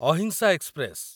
ଅହିଂସା ଏକ୍ସପ୍ରେସ